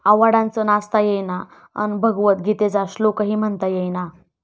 आव्हाडांचं 'नाचता येईना...'अन् भगवत गीतेचा श्लोकही म्हणता येईना!